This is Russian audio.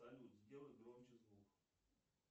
салют сделай громче звук